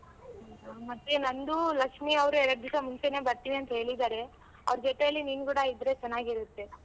ಮತ್ತೆ ನಂದು, ಲಕ್ಷ್ಮಿ ಅವ್ರು ಎರ್ಡ್ ದಿಸ ಮುಂಚೆನೆ ಬರ್ತೀನಿ ಅಂತ್ ಹೇಳಿದಾರೆ. ಅವ್ರ್ ಜೊತೇಲಿ ನೀನ್ ಕೂಡ ಇದ್ರೆ ಚೆನ್ನಾಗಿರತ್ತೆ.